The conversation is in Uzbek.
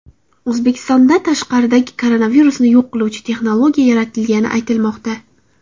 O‘zbekistonda tashqaridagi koronavirusni yo‘q qiluvchi texnologiya yaratilgani aytilmoqda .